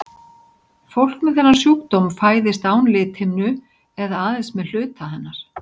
Fólk með þennan sjúkdóm fæðist án lithimnu eða aðeins með hluta hennar.